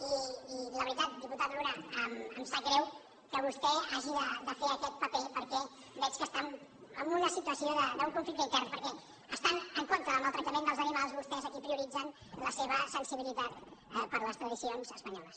i la veritat diputat luna em sap greu que vostè hagi de fer aquest paper perquè veig que està en una situació d’un conflicte intern perquè estant en contra del maltractament dels animals vostès aquí prioritzen la seva sensibilitat per les tradicions espanyoles